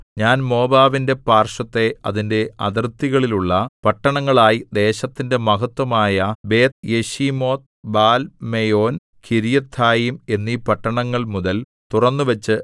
ഞാൻ മോവാബിന്റെ പാർശ്വത്തെ അതിന്റെ അതിർത്തികളിലുള്ള പട്ടണങ്ങളായി ദേശത്തിന്റെ മഹത്ത്വമായ ബേത്ത്യെശീമോത്ത് ബാൽമെയോൻ കിര്യഥയീം എന്നീ പട്ടണങ്ങൾമുതൽ തുറന്നുവച്ചു